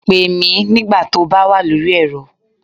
Pè mí nígbà tó bá wà lórí ẹ̀rọ